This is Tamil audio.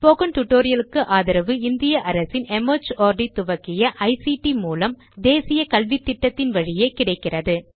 ஸ்போகன் டுடோரியல் க்கு ஆதரவு இந்திய அரசின் மார்ட் துவக்கிய ஐசிடி மூலம் தேசிய கல்வித்திட்டத்தின் வழியே கிடைக்கிறது